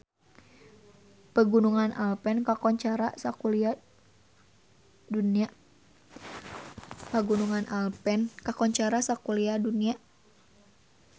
Pegunungan Alpen kakoncara sakuliah dunya